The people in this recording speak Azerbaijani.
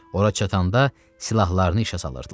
Ora çatanda silahlarını işə salırdılar.